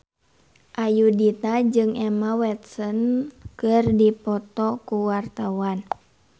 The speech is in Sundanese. Ayudhita jeung Emma Watson keur dipoto ku wartawan